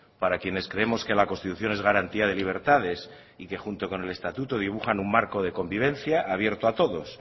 para quienes creemos que la constitución es garantía de libertades y que junto con el estatuto dibujan un marco de convivencia abierto a todos